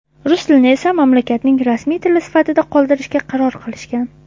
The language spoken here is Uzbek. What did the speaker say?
rus tilini esa mamlakatning rasmiy tili sifatida qoldirishga qaror qilishgan.